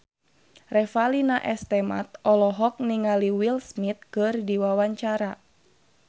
Revalina S. Temat olohok ningali Will Smith keur diwawancara